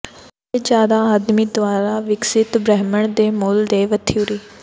ਲੰਬੇ ਜ਼ਿਆਦਾ ਆਦਮੀ ਦੁਆਰਾ ਵਿਕਸਤ ਬ੍ਰਹਿਮੰਡ ਦੇ ਮੂਲ ਦੇ ਵਥਊਰੀ